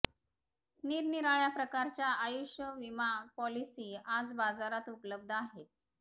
निरनिराळ्या प्रकारच्या आयुष्य विमा पॉलिसी आज बाजारात उपलब्ध आहेत